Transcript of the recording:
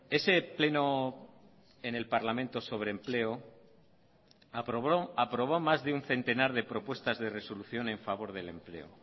ese pleno en el parlamento sobre empleo aprobó más de un centenar de propuestas de resolución en favor del empleo